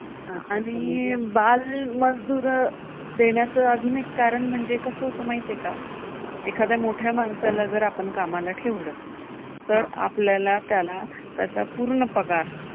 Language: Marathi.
आणि बालमजूर होण्याचे अजून एक कारण म्हणजे कसं होतं माहिती आहे का एखाद्या मोठ्या माणसाला जर आपण कामाला ठेवलं तर आपल्याला त्याला त्याचं पूर्ण पगार